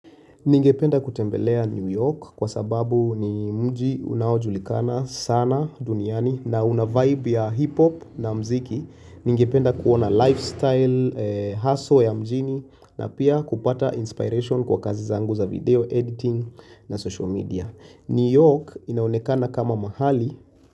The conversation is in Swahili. Ningependa kutembelea New York kwa sababu ni mji unaojulikana sana duniani na una vibe ya hip hop na mziki. Ningependa kuona lifestyle, hustle ya mjini na pia kupata inspiration kwa kazi zangu za video editing na social media. New York inaonekana kama mahali.